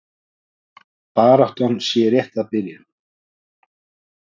Baráttan sé rétt að byrja.